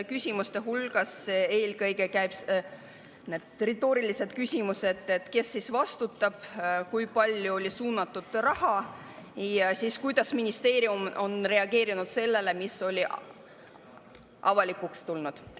Küsimuste hulgas on sellised küsimused, kes siis vastutab, kui palju oli suunatud raha ja kuidas ministeerium on reageerinud sellele, mis on avalikuks tulnud.